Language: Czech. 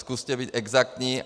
Zkuste být exaktní.